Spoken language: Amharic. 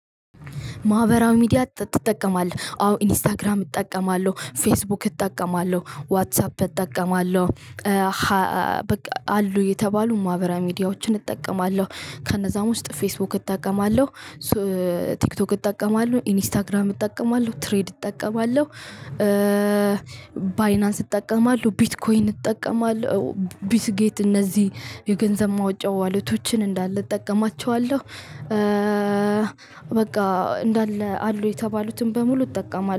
ማህበራዊ ሚዲያ ትጠቀማለህ? አዎ ኢንስታግራም እጠቀማለሁ ፌስቡክ እጠቀማለሁ ዋትሳፕ እጠቀማለሁ አሉ የተባሉ ማህበራዊ ሚዲያዎችን እጠቀማለሁ። ከነዛም ውስጥ ፌስቡክ እጠቀማለሁ። ቲክቶክ እጠቀማለሁ ኢንስታግራም እጠቀማለሁ ትሬድ እጠቀማለሁ። ባይናንስ እጠቀማለሁ ቢትኮይን እጠቀማለሁ ቢትጌት እነዚህ የገንዘብ ማውጫ ዋሌቶችን እንዳለ እጠቀማቸዋለሁ። በቃ እንዳለ አሉ የተባሉትን በሙሉ እጠቀማለሁ